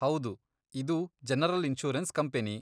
ಹೌದು, ಇದು general insurance company.